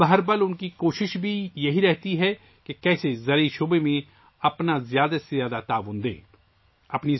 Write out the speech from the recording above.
اب ہر لمحہ ان کی یہ کوشش رہتی ہے کہ زراعت کے شعبے میں زیادہ سے زیادہ حصہ کیسے لیا جائے